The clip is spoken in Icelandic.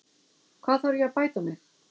Hvar þarf ég að bæta mig?